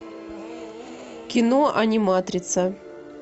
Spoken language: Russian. кино аниматрица